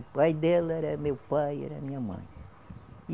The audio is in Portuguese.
O pai dela era meu pai, era minha mãe. e